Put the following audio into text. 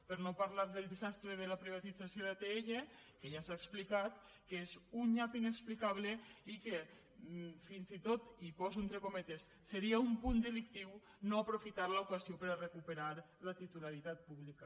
per no parlar del desastre de la privatització d’atll que ja s’ha explicat que és un nyap inexplicable i que fins i tot i ho poso entre cometes seria un punt delictiu no aprofitar l’ocasió per a recuperar la titularitat pública